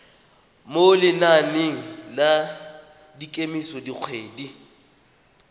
mo lenaneng la kemiso dikgwedi